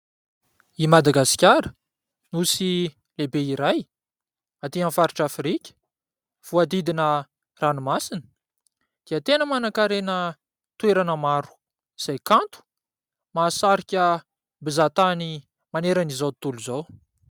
I Madagasikara, nosy lehibe iray atỳ amin'ny faritra Afrika. Voahodidina ranomasina dia tena manan-karena toerana maro izay kanto. Mahasarika mpizahantany manerana izao tontolo izao.